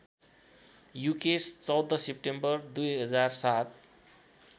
Yukesh १४ September २००७